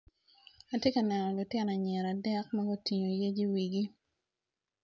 Atye ka neno lutino anyira adek magutingo yec i wigi.